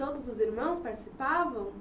E todos os irmãos participavam?